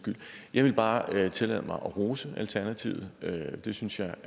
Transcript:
skyld jeg vil bare tillade mig at rose alternativet det synes jeg